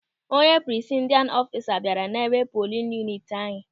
Onye prisaidin ọfisa bịara n'ebe polin yuniti anyị.